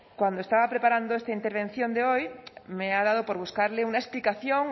cuando estaba preparando esta intervención de hoy me ha dado por buscarle una explicación